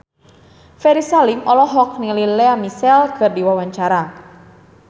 Ferry Salim olohok ningali Lea Michele keur diwawancara